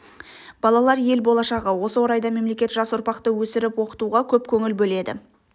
балалар ел болашағы осы орайда мемлекет жас ұрпақты өсіріп оқытуға көп көңіл бөледі